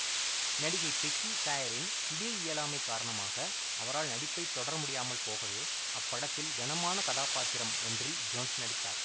நடிகை பெக்கி சாயரின் திடீர் இயலாமைக் காரணமாக அவரால் நடிப்பைத் தொடரமுடியாமல் போகவே அப்படத்தில் கனமான கதாபாத்திரம் ஒன்றில் ஜோன்ஸ் நடித்தார்